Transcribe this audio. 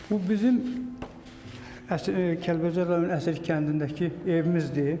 Bu bizim Kəlbəcər rayonunun Əsrik kəndindəki evimizdir.